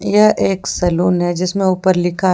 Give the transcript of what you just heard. यह एक सलून है जिसमें ऊपर लिखा है।